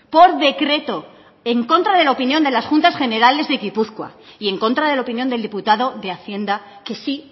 por decreto en contra de la opinión de las juntas generales de gipuzkoa y en contra de la opinión del diputado de hacienda que sí